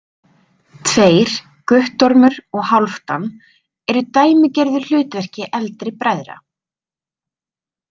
Tveir, Guttormur og Hálfdan, eru í dæmigerðu hlutverki eldri bræðra.